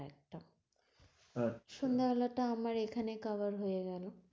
আচ্ছা, সন্ধ্যে বেলাটা আমার এখানে cover হয়ে গেল।